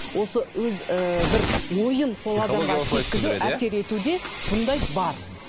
осы өз ііі бір ойын әсер ету де бұндай бар